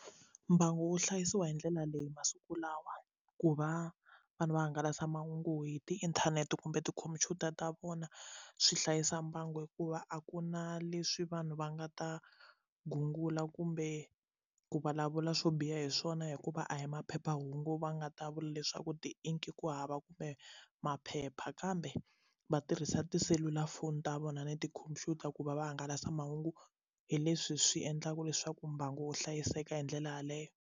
Mbangu wu hlayisiwa hi ndlela leyi masiku lawa ku va vanhu va hangalasa mahungu hi tiinthanete kumbe tikhompyuta ta vona swi hlayisa mbangu hikuva a ku na leswi vanhu va nga ta gungula kumbe ku vulavula swo biha hi swona hikuva a hi maphephahungu va nga ta vula leswaku ti inki ku hava kumbe maphepha kambe va tirhisa tiselulafoni ta vona ni tikhompyuta ku va va hangalasa mahungu hi leswi swi endlaka leswaku mbangu wu hlayiseka hi ndlela yeleyo.